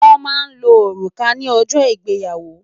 Wòn má n ló órúkà ni òjò igbéyàwó